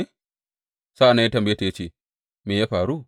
Sa’an nan ya tambaye ta ya ce, Me ya faru?